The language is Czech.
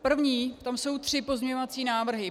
První - tam jsou tři pozměňovací návrhy.